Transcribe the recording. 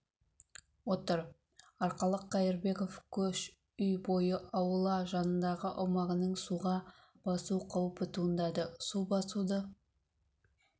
отыр арқалық қаирбеков көш үй бойы аула жанындағы аумағының суға басу қауіпі туындады су басуды